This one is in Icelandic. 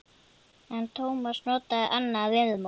En Tómas notaði annað viðmót.